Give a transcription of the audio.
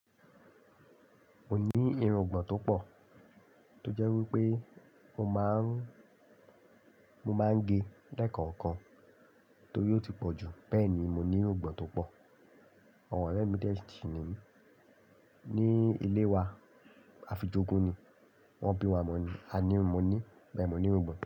Mo ní irungbọ̀n tó pò, tó jẹ́ wípé mo máa ń, mo máa ń gé lẹ́kànkan tó ti ò ti pọ̀ jù, bẹ́ẹ̀ ni mo ní irungbọ̀n tó pò. Àwọn ọ̀rẹ́ mi tẹ́ẹ̀ sí i ní, ní ilé wa afijókó ni, wọ́n bí wa mọ ní, a ní mo ní, bẹ́ẹ̀ mo ní irungbọ̀n.